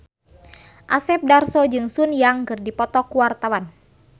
Asep Darso jeung Sun Yang keur dipoto ku wartawan